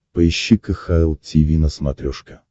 поищи кхл тиви на смотрешке